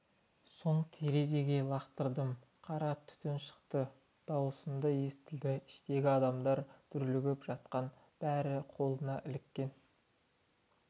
соң терезеге лақтырдым қара түтін шықты дауысым да естілді іштегі адамдар дүрлігіп жатқан бәрі қолына іліккен